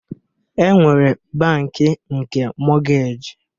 E nwere bankị nke mọgej